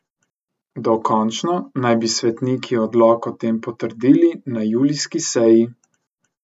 Dokončno naj bi svetniki odlok o tem potrdili na julijski seji.